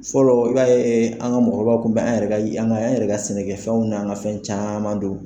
Fɔlɔ i b'a ye an ka mɔgɔkɔrɔbaw kun bɛ an yɛrɛ ka an yɛrɛ ka an sɛnɛkɛfɛnw ni an ka fɛn caman dun.